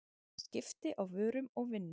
skipti á vörum og vinnu